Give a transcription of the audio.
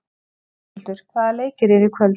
Rúnhildur, hvaða leikir eru í kvöld?